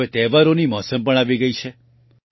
હવે તહેવારોની મોસમ પણ આવી ગઈ છે